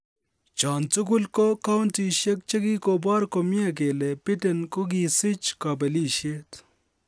Chon tugul ko kountisiek che kogibor komie kele Biden kokisich kobelisiet.